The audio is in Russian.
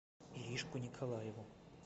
иришку николаеву